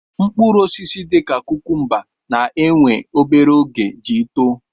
Mkpụrụ osisi dị ka kukumba na-éwè obere oge iji too